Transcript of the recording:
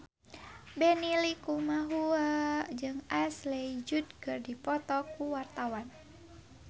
Benny Likumahua jeung Ashley Judd keur dipoto ku wartawan